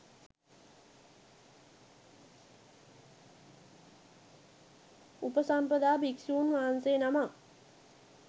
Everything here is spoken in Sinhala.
උපසම්පදා භික්‍ෂූන් වහන්සේ නමක්